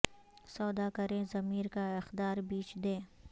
سودا کریں ضمیر کا اقدار بیچ دیں